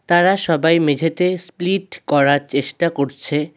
তারা সবাই মেঝেতে স্প্লিট করার চেষ্টা করছে।